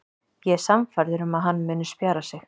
Ég er sannfærður um að hann muni spjara sig.